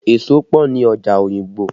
Èso pọ ni ọjà Oyingbo